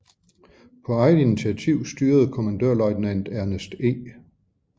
På eget initiativ styrede kommandørløjtnant Ernest E